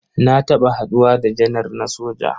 Na taɓa haɗuwa da janar na soja.